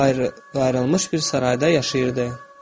Qayrı, qayrılmış bir sarayda yaşayırdı.